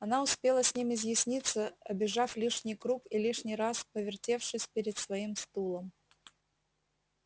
она успела с ним изъясниться обежав лишний круг и лишний раз повертевшись перед своим стулом